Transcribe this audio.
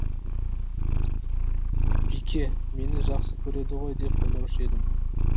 бике мені жақсы көреді ғой деп ойлаушы едім